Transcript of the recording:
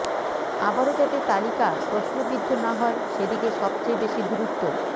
আবারও যাতে তালিকা প্রশ্নবিদ্ধ না হয় সেদিকে সবচেয়ে বেশি গুরুত্ব